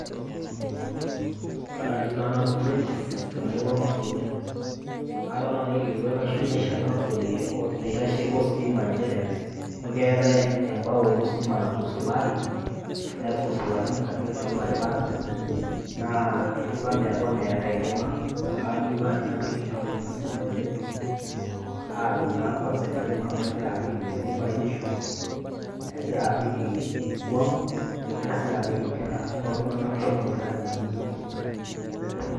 Kaaji taa nanu James, te mururua Olmagutian, aata naji olkilikuai layeu naisho enkampuni ostima nje ajo keatai embao ostima natusulari, netusulakine kati kati olbarabara, naa eton etiu ana eton eata enkima. Ayeu naaji najoki enkampuni ostima meetu adung' naa kwanza ina kima amu kegira apik intokitin batishu, egira apik iswan, o nkera oltung'ana muuj akeyie ogira aim ina oitoi.